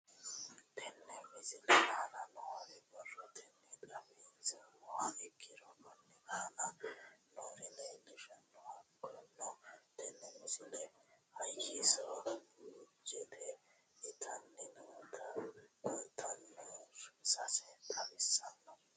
Tenne misile aana noore borrotenni xawisummoha ikirro kunni aane noore leelishano. Hakunno tinni misile hayisso buujite itanni noota kollishsho saa xawissanno.